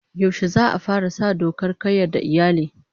Yaushe za'a fara sa dokar kayyade iyali?